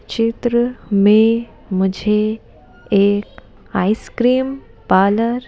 चित्र में मुझे एक आइसक्रीम पार्लर --